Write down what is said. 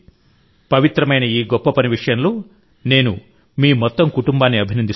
పవిత్రమైన ఈ గొప్ప పని విషయంలో నేను మీ మొత్తం కుటుంబాన్ని అభినందిస్తున్నాను